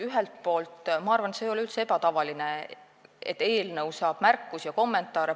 Ühelt poolt, ma arvan, ei ole üldse ebatavaline, et eelnõu saab märkusi ja kommentaare.